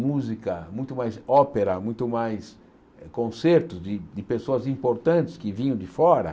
música, muito mais ópera, muito mais concerto de de pessoas importantes que vinham de fora.